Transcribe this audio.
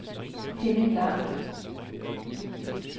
Henning Lang